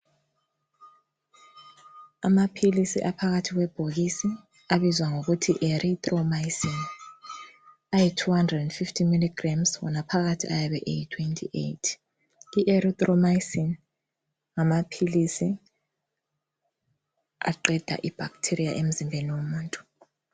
Amaphilisi aphakathi kwebhokisi abizwa ngokuthi Erythromycin, ayi 250mg wona phakathi ayabe eyi 28. I- Erythromycin ngamaphilisi aqeda i-bacteria emzimbeni womuntu.